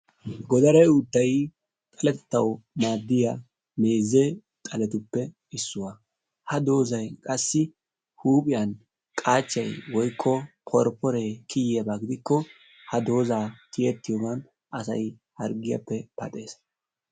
Godare uuttay xaletettawu maaddiya meeze xaletuppe issuwa. Ha doozzay qassi huuphiyan qaachchay woykko poripporee kiyiyaba gidikko ha doozzaa tiyettiyogan asay harggiyappe paxees.